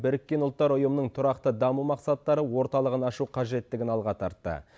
біріккен ұлттар ұйымының тұрақты даму мақсаттары орталығын ашу қажеттігін алға тартты